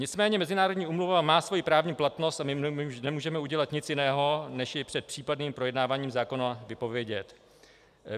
Nicméně mezinárodní úmluva má svoji právní platnost a my nemůžeme udělat nic jiného, než ji před případným projednáváním zákona vypovědět.